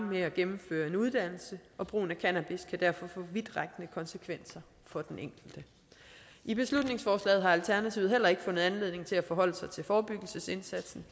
med at gennemføre en uddannelse og brugen af cannabis kan derfor få vidtrækkende konsekvenser for den enkelte i beslutningsforslaget har alternativet heller ikke fundet anledning til at forholde sig til forebyggelsesindsatsen